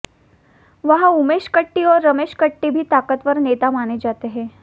वहां उमेश कट्टी और रमेश कट्टी भी ताकतवर नेता माने जाते हैं